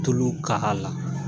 Tulu k'a la.